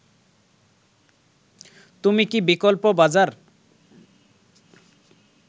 তুমি কি বিকল্প বাজার